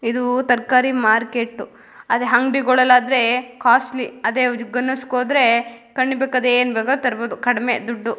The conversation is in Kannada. ಇದು ತರಕಾರಿ ಮಾರ್ಕೆಟ್ ಅದೇ ಅಂಗಡಿಗಳಲ್ಲಿ ಆದ್ರೆ ಕಾಸ್ಟ್ಲಿ ಏನ್ ಬೇಕಾದ್ರು ತರಬಹುದು ಕಡಿಮೆ ದುಡ್ಡು.